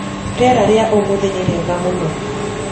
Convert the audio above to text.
Rĩera rĩa ũmũthĩ nĩrĩega mũno.